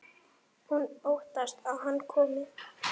Hún óttast að hann komi.